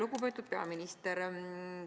Lugupeetud peaminister!